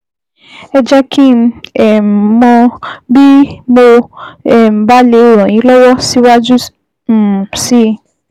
Ẹ jẹ́ kí um n mọ̀ bí mo um bá lè ràn yín lọ́wọ́ síwájú um sí i